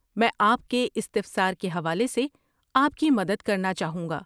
میں آپ کے استفسار کے حوالے سے آپ کی مدد کرنا چاہوں گا۔